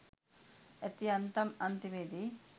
ඇති යන්තම් අන්තිමේදී